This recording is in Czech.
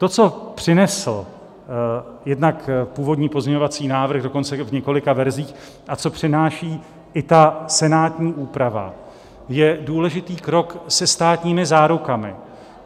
To, co přinesl jednak původní pozměňovací návrh dokonce v několika verzích a co přináší i ta senátní úprava, je důležitý krok se státními zárukami.